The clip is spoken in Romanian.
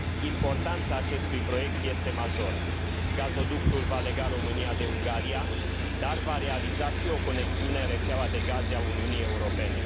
Importanța acestui proiect este majoră. Gazoductul va lega România de Ungaria, dar va realiza și o conexiune în rețeaua de gaze a Uniunii Europene.